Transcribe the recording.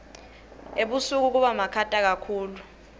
ebusika kubamakhata kakhulu